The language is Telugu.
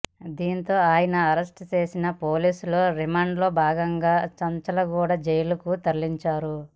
దీంతో ఆయనను అరెస్ట్ చేసిన పోలీసులు రిమాండ్లో భాగంగా చంచల్గూడ జైలుకు తరలించారు